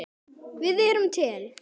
Við erum til!